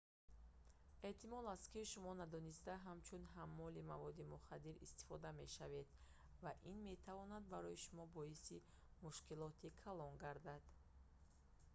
эҳтимол аст ки шумо надониста ҳамчун ҳаммоли маводи мухаддир истифода мешавед ва ин метавонад барои шумо боиси мушкилоти калон гардад